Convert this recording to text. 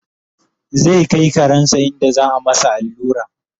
zai Kai karensa inda za'a masa allura